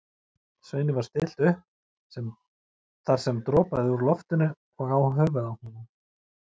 Sveini var stillt þar upp sem dropaði úr loftinu og á höfuð honum.